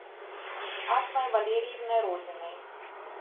асмой валерьевной родиной